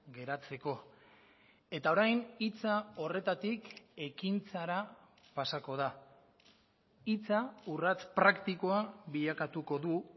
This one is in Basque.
geratzeko eta orain hitza horretatik ekintzara pasako da hitza urrats praktikoa bilakatuko du